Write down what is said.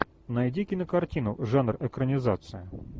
найди кинокартину жанр экранизация